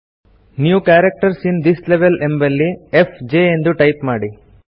new characters in this level ಎಂಬಲ್ಲಿ fjಎಂದು type ಮಾಡಿ